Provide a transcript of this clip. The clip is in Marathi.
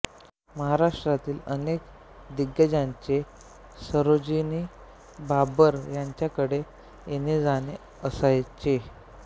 महाराष्ट्रातील अनेक दिग्गजांचे सरोजिनी बाबर यांच्याकडे येणेजाणे असायचे